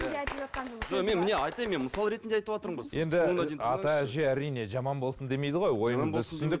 мен міне айтайын мен мысал ретінде айтыватырмын ғой әрине жаман болсын демейді ғой